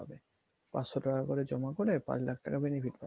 পাঁচশ টাকা করে জমা করে পাঁচ লাখ টাকা benefit পাচ্ছ